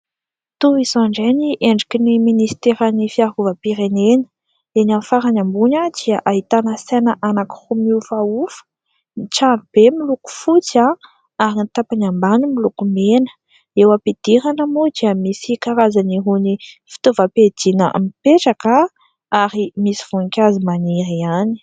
Toy izao indray ny endriky ny ministeran'ny fiarovam-pirenena. Eny amin'ny farany ambony dia ahitana saina anankiroa miofaofa. Ny tranobe miloko fotsy ary ny tapany ambany miloko mena. Eo am-pidirana moa dia misy karazany irony fitovam-piadiana mipetraka ary misy voninkazo maniry ihany.